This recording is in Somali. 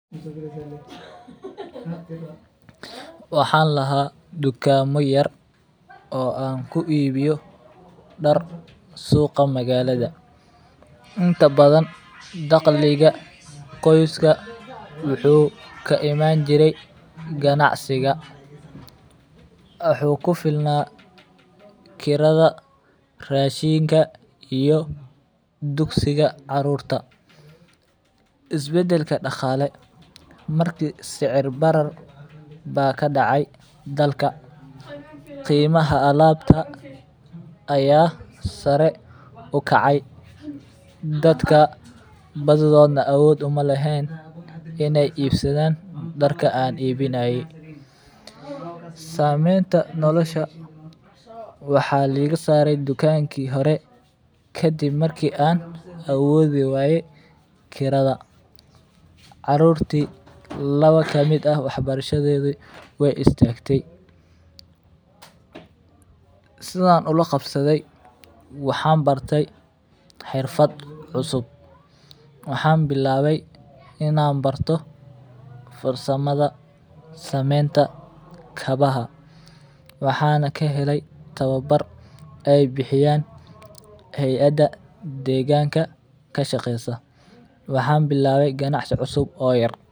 Waxaan lahaa dukaamo yar oo aan ku iibiyo dar suuqa magaalada, inta badan daqliga qoyska wuxuu ka imaan jire ganacsiga wuxuu kufilna kirada, rashiinka iyo dugsiga caruurta, is bedelka daqaale marki sicir barar baa kadacay dalka, qiimaha alaabta ayaa sare ukacay, dadka badidoodna awood uma leheen in aay iibsadaan darka aan iibinaye sameenta nolosha waxaa liiga saare dukanki hore kadib marka aan awoodi waye kirada, caruurti laba kamid ah wax barashadoodi waay istagtay, sidaan ula qabsaday waxaan bartay xirfad cusub, waxaan bilaabay inaan barto farsamada sameenta kabaha waxaana kahelay tababar aay bixiyaan hayada deeganka kashaqeesa waxaan bilaabay ganacsi yar.